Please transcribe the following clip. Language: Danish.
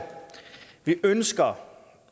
vi ønsker